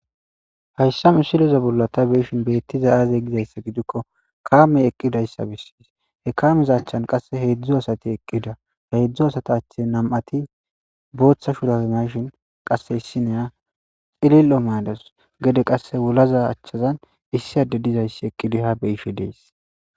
Hayssa mi siloza bolla ta beeshin beettiza aazey gizayssa gidikko kaame eqqidayssa bissis he kaameza achchan qasse heedzdzu asati eqqida he eedzdzu asata ache nam7ati booththa shurazanashin qasse issineya xilil7o madas gede qasse wulaza achchazan issi adde dizayssi eqqidiha beyishe dees